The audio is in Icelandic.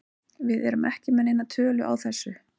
Við erum ekki með neina tölu á þessu.